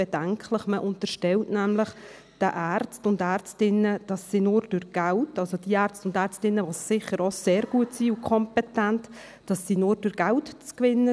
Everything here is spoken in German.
Man unterstellt den sicher sehr guten und kompetenten Ärzten und Ärztinnen nämlich, sie seien nur mit Geld zu gewinnen.